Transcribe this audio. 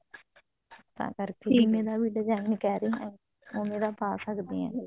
ਤਾਂ ਕਰਕੇ ਜਿਵੇਂ ਦਾ ਵੀ design ਕਿਹ ਰਹੇ ਹੋ ਓਵੇਂ ਦਾ ਪਾ ਸਕਦੇ ਹਾਂ